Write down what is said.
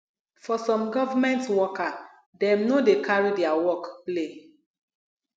for some government worker dem no dey carry their work play